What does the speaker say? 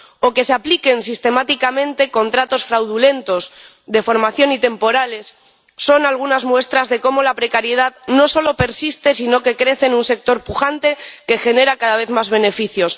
o que se apliquen sistemáticamente contratos fraudulentos de formación y temporales son algunas muestras de cómo la precariedad no solo persiste, sino que crece en un sector pujante que genera cada vez más beneficios.